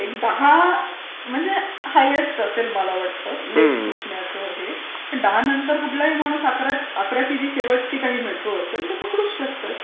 एक दहा म्हणजे हायेस्त असेल मला वाटते लेट सुटण्याचं हे पण दहा नंतर कुठलाही माणूस अकराची जी शेवटची मेट्रो असेल ती पकडूच शकतो.